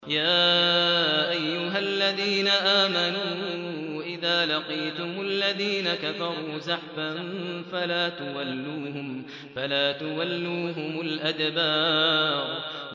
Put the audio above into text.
يَا أَيُّهَا الَّذِينَ آمَنُوا إِذَا لَقِيتُمُ الَّذِينَ كَفَرُوا زَحْفًا فَلَا تُوَلُّوهُمُ الْأَدْبَارَ